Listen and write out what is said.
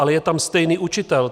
Ale je tam stejný učitel.